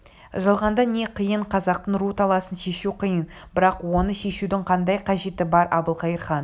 жалғанда не қиын қазақтың ру таласын шешу қиын бірақ оны шешудің қандай қажеті бар әбілқайыр хан